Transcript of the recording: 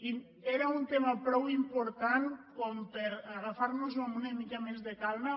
i era un tema prou important per agafar·nos·el amb una mica més de calma